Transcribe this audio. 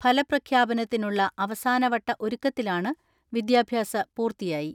ഫലപ്രഖ്യാപനത്തിനുള്ള അവസാനവട്ട ഒരുക്കത്തിലാണ് വിദ്യാഭ്യാസ പൂർത്തിയായി.